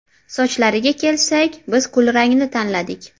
Sochlariga kelsak, biz kulrangni tanladik.